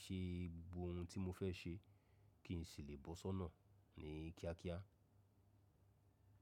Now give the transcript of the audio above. ṣe gbogbo ohun tí mo fẹ́ ṣe kí n sì lè bọ́ sọ́nà ní kíákíá.